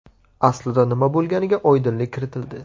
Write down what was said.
Aslida nima bo‘lganiga oydinlik kiritildi.